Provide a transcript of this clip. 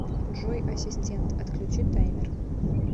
джой ассистент отключи таймер